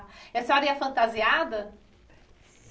E a senhora ia fantasiada?